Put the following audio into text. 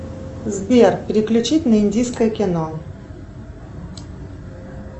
сбер переключить на индийское кино